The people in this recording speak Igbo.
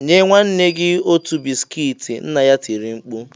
Nye nwanne gị otu bisikiiti!” Nna ya tiri mkpu